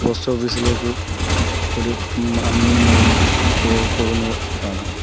Post office ഇലേക്ക് ഒരു മം അമ്മയും മകനും കേറി പോകുന്നത് കാണാം.